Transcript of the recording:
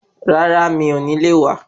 Rárá mi ò ní le wá.